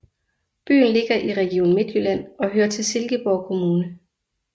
Byen ligger i Region Midtjylland og hører til Silkeborg Kommune